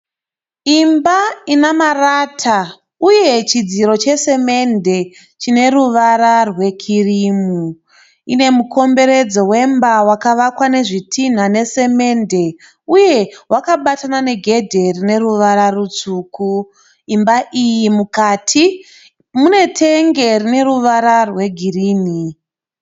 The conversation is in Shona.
Imba ine marata ine chidziro chesimende chine ruvara rwekirimu. Ine mukomberedzo wemba wakavakwa nezvitinha nesimende rwakabatana negedhe rine ruvara rutsvuku. Imba iyi mukati munetenge rine ruvara rwegirinhi.